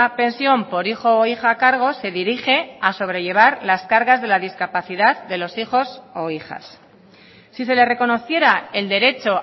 pensión por hijo o hija a cargo se dirige a sobrellevar las cargas de la discapacidad de los hijos o hijas si se le reconociera el derecho